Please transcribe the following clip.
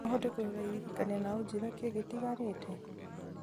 no ũhote kũrora iririkania na ũnjĩre kĩĩ gĩtigarĩte